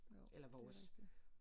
Jo det er rigtigt